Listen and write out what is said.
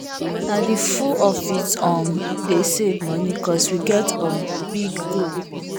nah the full office um dey save money cause we get um big um goal